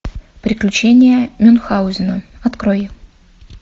приключения мюнхаузена открой